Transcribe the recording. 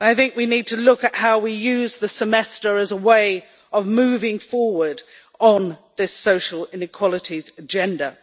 We need to look at how we use the European Semester as a way of moving forward on this social inequalities agenda.